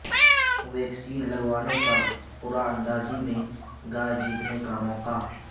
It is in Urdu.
ویکسین لگوانے پر قرعہ اندازی میں گائے جیتنے کا موقع